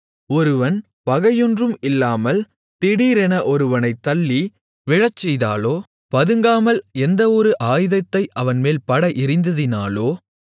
ஒருவன் பகையொன்றும் இல்லாமல் திடீரென ஒருவனைத் தள்ளி விழச்செய்ததாலோ பதுங்காமல் எந்த ஒரு ஆயுதத்தை அவன்மேல் பட எறிந்ததினாலோ